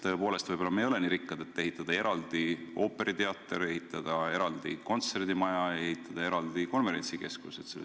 Tõepoolest, võib-olla me ei ole nii rikkad, et ehitada eraldi ooperiteater, ehitada eraldi kontserdimaja, ehitada eraldi konverentsikeskus.